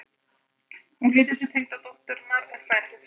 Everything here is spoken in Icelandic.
Hún lítur til tengdadótturinnar en fær ekkert svar.